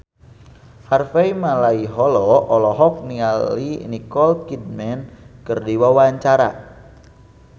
Harvey Malaiholo olohok ningali Nicole Kidman keur diwawancara